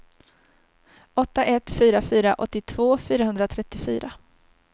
åtta ett fyra fyra åttiotvå fyrahundratrettiofyra